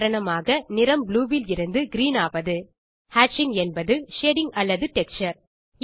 உதாரணமாக நிறம் ப்ளூ விலிருந்து கிரீன் ஆவது ஹேட்சிங் என்பது ஷேடிங் அல்லது டெக்ஸ்சர்